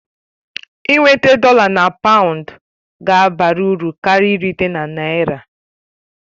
Ị nweta dọla na paụnd ga-abara uru karịa irite na naira